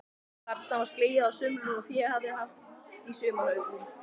Þarna var slegið á sumrin og fé haft í sumarhögum.